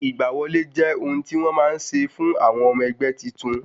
Ìgbà wọlé jẹ́ ohun tí wọn má ń ṣe fún ọmọ ẹgbẹ́ titun